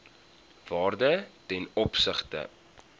waarde ten opsigte